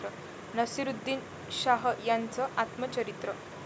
नसीरुद्दीन शाह यांचं आत्मचरित्र